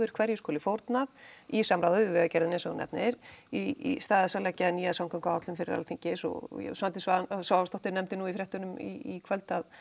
hverju skuli fórnað í samráði við vegagerðina eins og þú nefnir í stað þess að leggja fram nýja samgönguáætlun fyrir Alþingi eins og Svandís Svavarsdóttir nefndi nú í fréttunum í kvöld að